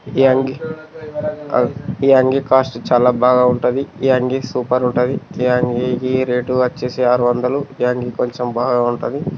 ఈ అంగి ఈ అంగి కాస్టు చాలా బాగుంటది ఈ అంగీ చాలా సూపర్ ఉంటది అయితే రేట్ వచ్చేసి ఆరు వందలు ఈ అంగీ చాలా బాగుంటది.